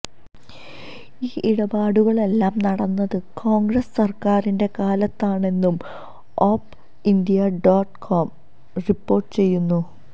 ഈ ഇടപാടുകളെല്ലാം നടന്നത് കോണ്ഗ്രസ് സര്ക്കാരിന്റെ കാലത്താണെന്നും OpIndia dot com report ചെയ്യുന്നു